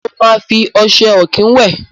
Mo máa fi ọṣẹ ọ̀kín wẹ̀.